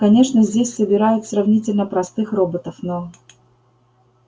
конечно здесь собирают сравнительно простых роботов но